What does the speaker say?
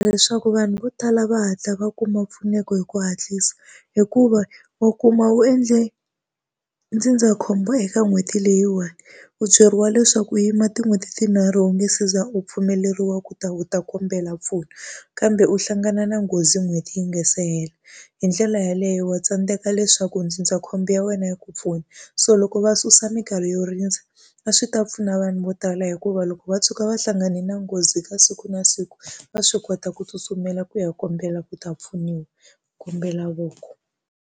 Leswaku vanhu vo tala va hatla va kuma mpfuneko hi ku hatlisa. Hikuva wa kuma u endle ndzindzakhombo eka n'hweti leyiwani, u byeriwa leswaku u yima tin'hweti tinharhu u nge se za u pfumeleriwa ku ta u ta kombela mpfuno. Kambe u hlangana na nghozi n'hweti yi nga se hela. Hi ndlela yeleyo wa tsandzeka leswaku ndzindzakhombo ya wena yi ku pfuna. So loko va susa minkarhi yo rindza, a swi ta pfuna vanhu vo tala hikuva loko va tshuka va hlangane na nghozi ka siku na siku va swi kota ku tsutsumela ku ya kombela ku ta pfuniwa. Kombela voko.